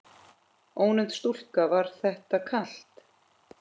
Ónefnd stúlka: Var þetta kalt?